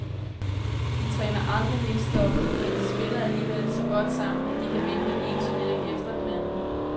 De træner aldrig mixed double, men de spiller alligevel så godt sammen, at de kan vinde den ene turnering efter den anden.